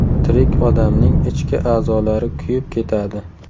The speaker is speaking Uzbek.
Tirik odamning ichki a’zolari kuyib ketadi.